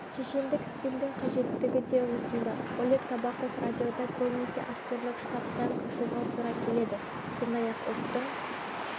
шешендік стильдің қажеттігі де осында олег табаков радиода көбінесе актерлік штамптан қашуға тура келеді сондай-ақ ұлттың